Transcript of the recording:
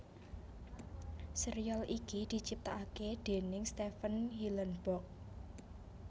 Sérial ini diciptakaké déning Stephen Hillenburg